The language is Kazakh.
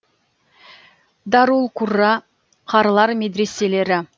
дарул қурра қарылар медреселері